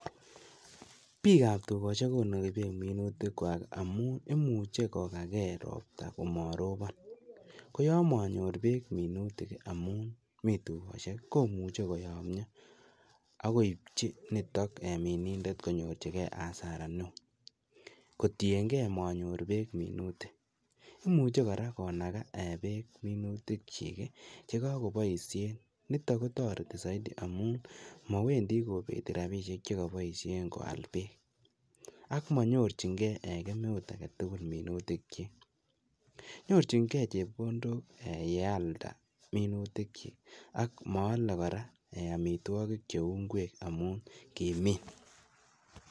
Bik ab tukoshek konoki beek minutik kwak amunun imuche kokagee ropta komorobon ko yon momyor beek minutoi amun mii tukoshek komuche koyomyo ak koibji nitok eeh minindet konyorji gee asara neo kitiyengee monyor beek minutik, imuche koraa konaka beek minutik chik chekokoboishen niton kotoreti soiti amun mowendii kobeti rabinishek chekoboishek koal beek ak monyorjin geen eeh kemeut agetukul minutik chik, nyorchin gee chekondok ee yealda minutik chik ak moole kora ee omitwoki cheu inkwek amun kimin.